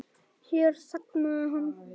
Hér þagnaði hann.